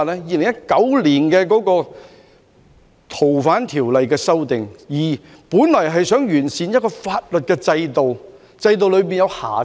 2019年的《逃犯條例》修訂，本來旨在完善一個法律制度，修復好制度內的瑕疵。